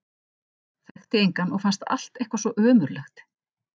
Þekkti engan og fannst allt eitthvað svo ömurlegt.